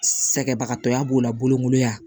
Sɛgɛnbagatɔya b'o la bolokoli ya